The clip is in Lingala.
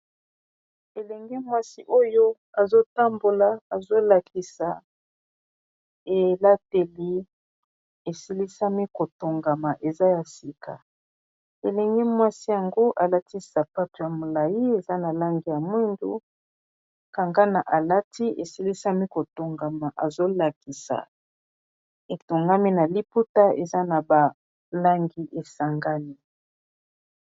elenge mwasi oyo azotambola azolakisa elateli esilisami kotongama eza ya sika elenge mwasi yango alatisapato ya molai eza na langi ya mwindu liputa eza na balangi esangami